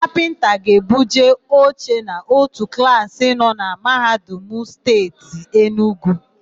Kapịnta ga-ebuje oche n'ótù klaasị nọ na Mahadum Steeti Enugwu.